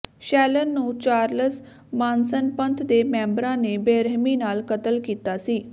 Sharon ਨੂੰ Charles Manson ਪੰਥ ਦੇ ਮੈਂਬਰਾਂ ਨੇ ਬੇਰਹਿਮੀ ਨਾਲ ਕਤਲ ਕੀਤਾ ਸੀ